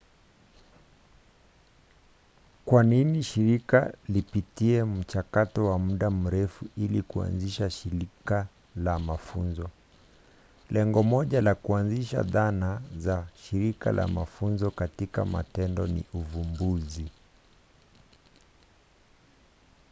kwa nini shirika lipitie mchakato wa muda mrefu ili kuanzisha shirika la mafunzo? lengo moja la kuanzisha dhana za shirika la mafunzo katika matendo ni uvumbuzi